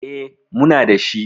E, muna da shi.